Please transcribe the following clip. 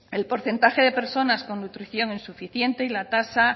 el porcentaje de personas con nutrición insuficiente y la tasa